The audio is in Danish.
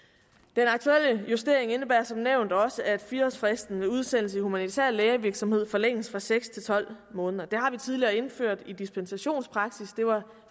den aktuelle justering indebærer som nævnt også at fire årsfristen ved udsendelse i humanitær lægevirksomhed forlænges fra seks til tolv måneder det har vi tidligere indført i dispensationspraksis det var